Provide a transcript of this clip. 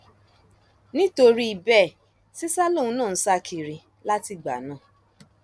nítorí bẹẹ sìṣà lòun náà ń sá kiri látìgbà náà